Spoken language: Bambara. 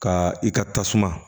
Ka i ka tasuma